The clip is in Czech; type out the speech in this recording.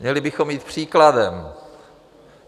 Měli bychom jít příkladem.